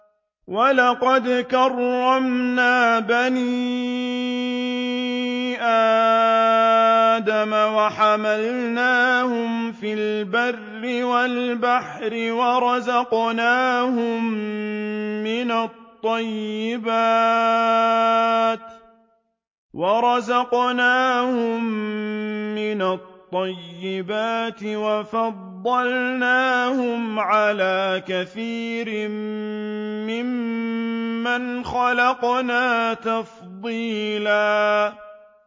۞ وَلَقَدْ كَرَّمْنَا بَنِي آدَمَ وَحَمَلْنَاهُمْ فِي الْبَرِّ وَالْبَحْرِ وَرَزَقْنَاهُم مِّنَ الطَّيِّبَاتِ وَفَضَّلْنَاهُمْ عَلَىٰ كَثِيرٍ مِّمَّنْ خَلَقْنَا تَفْضِيلًا